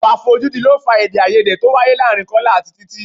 Ìwà àfojúdi ló fà èdè-áiyedé tó wáyé láàárín Kọ́lá àti Títí.